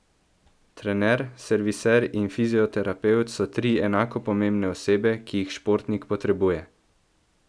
Trener, serviser in fizioterapevt so tri enako pomembne osebe, ki jih športnik potrebuje!